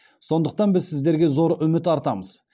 сондықтан біз сіздерге зор үміт артамыз